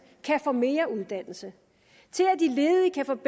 kan få mere uddannelse til at de ledige kan få en